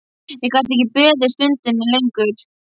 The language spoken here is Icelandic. Ég gat ekki beðið stundinni lengur.